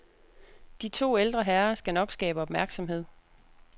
De to ældre herrer skal nok skabe opmærksomhed.